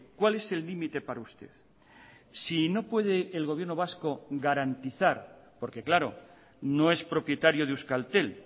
cuál es el límite para usted si no puede el gobierno vasco garantizar porque claro no es propietario de euskaltel